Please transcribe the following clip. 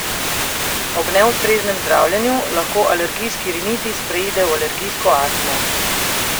Ob neustreznem zdravljenju lahko alergijski rinitis preide v alergijsko astmo.